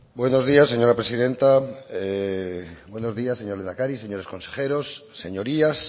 buenos días señora presidenta buenos días señor lehendakari señores consejeros señorías